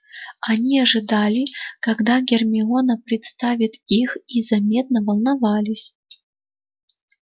они ожидали когда гермиона представит их и заметно волновались